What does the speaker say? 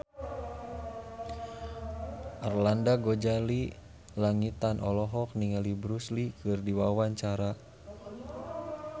Arlanda Ghazali Langitan olohok ningali Bruce Lee keur diwawancara